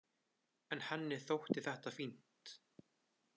En henni þótti þetta fínt.